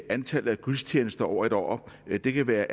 antallet af gudstjenester over et år eller det kan være